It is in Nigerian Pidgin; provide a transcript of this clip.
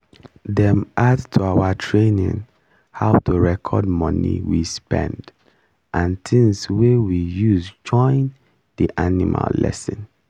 dem add to our training how to record money we spend and things wey we use join the animal lesson